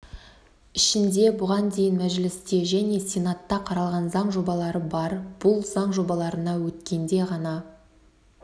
ішінде бұған дейін мәжілісте және сенатта қаралған заң жобалары бар бұл заң жобаларына өткенде ғана